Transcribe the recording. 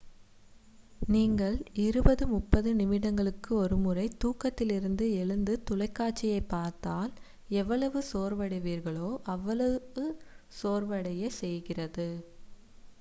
நீங்கள் இருபது முப்பது நிமிடங்களுக்கு ஒருமுறை தூக்கத்திலிருந்து எழுந்து தொலைக்காட்சியை பார்த்தால் எவ்வளவு சோர்வடைவீர்களோ அவ்வளவு சோர்வடையச் செய்கிறது